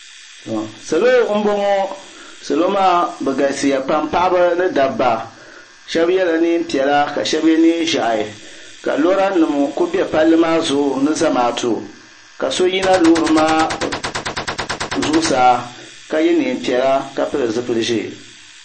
Salo m boŋɔ salo maa bɛ galisiya pam paɣaba ni dabba sheba yela niɛn'piɛla ka sheba ye niɛn'ʒehi ka lora nima kuli be palli maa zuɣu ni Zamaatu ka yina loori maa zuɣusaa ka ye niɛn'piɛla ka pili zipil'ʒee.